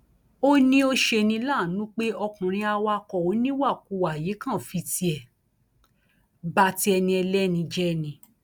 ó ní ó ṣe ní láàánú pé ọkùnrin awakọ oníwàkuwà yìí kàn fi tiẹ ba ti ẹni ẹlẹni jẹ ni